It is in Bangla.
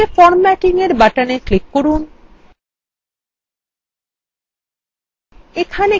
নীচে formattingএর বাটনএ ক্লিক করুন